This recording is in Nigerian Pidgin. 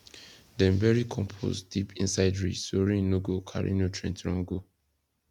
dem bury compost deep inside ridge so rain no go carry nutrient run go